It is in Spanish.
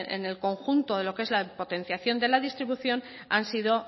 en el conjunto de lo que es la potenciación de la distribución han sido